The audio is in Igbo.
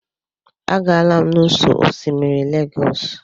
Agaala m n'ụ́sọ̀ osimiri Lagos.